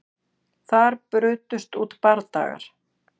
Þar brutust út bardagar